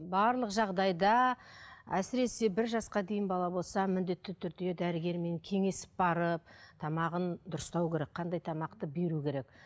барлық жағдайда әсіресе бір жасқа дейін бала болса міндетті түрде дәрігермен кеңесіп барып тамағын дұрыстау керек қандай тамақты беру керек